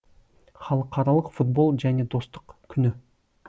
халықаралық футбол және достық күні